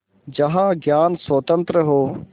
जहाँ ज्ञान स्वतन्त्र हो